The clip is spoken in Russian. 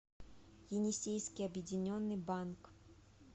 енисейский объединенный банк